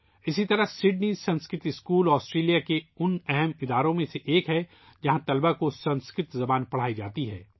اسی طرح Sydney Sanskrit school, Australia کے معروف اداروں میں سے ایک ہے ، جہاں طلباء کو سنسکرت زبان سکھائی جاتی ہے